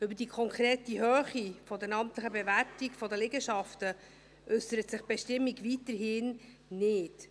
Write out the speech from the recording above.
Über die konkrete Höhe der amtlichen Bewertung der Liegenschaften äussert sich die Bestimmung weiterhin nicht.